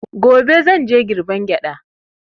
Gobe zan je girbe gyaɗa.